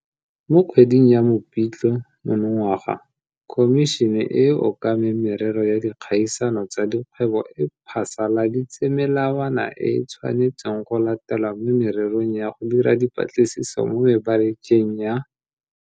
Mo kgweding ya Mopitlwe monongwaga Khomišene e e Okameng Merero ya Dikgaisano tsa Dikgwebo e phasaladitse melawana e e tshwanetsweng go latelwa mo mererong ya go dira dipatlisiso mo mebarakeng ya.